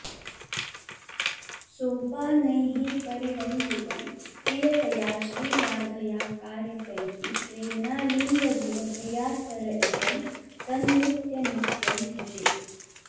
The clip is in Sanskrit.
सोपानैः परिरञ्जितं प्रियतया श्रीराधया कारितैः प्रेम्णालिङ्गदिव प्रिया सर इदं तन्नीत्यनित्यं भजे